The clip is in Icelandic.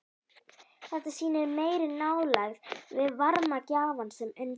Þetta sýnir meiri nálægð við varmagjafann sem undir er.